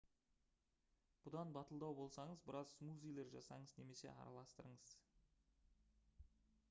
бұдан батылдау болсаңыз біраз смузилер жасаңыз немесе араластырыңыз